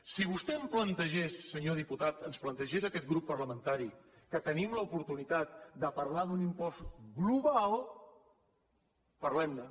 si vostè em plantegés senyor diputat ens plantegés a aquest grup parlamentari que tenim l’oportunitat de parlar d’un impost global parlem ne